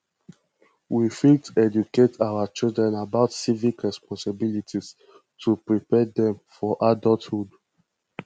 we fit educate our children about civic responsibilities to prepare dem for adulthood